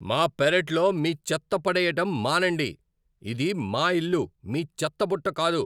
మా పెరట్లో మీ చెత్త పడెయ్యటం మానండి. ఇది మా ఇల్లు, మీ చెత్తబుట్ట కాదు!